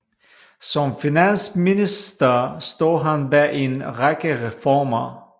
Som finansminister stod han bag en række reformer